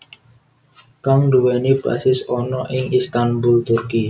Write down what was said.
Kang nduwèni basis ana ing Istanbul Turki